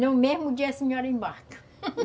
No mesmo dia a senhora embarca